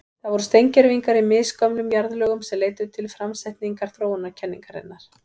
Það voru steingervingar í misgömlum jarðlögum sem leiddu til framsetningar þróunarkenningarinnar.